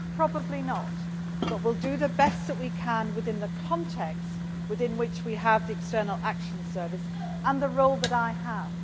Probably not, but we will do the best that we can in the context, within which we have the External Action Service and the role that I have.